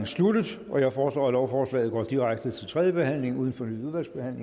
sluttet jeg foreslår at lovforslaget går direkte til tredje behandling uden fornyet udvalgsbehandling